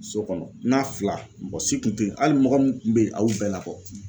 So kɔnɔ n na fila, mɔgɔ si kun te yen. Hali mɔgɔ min be yen a y'u bɛɛ labɔ.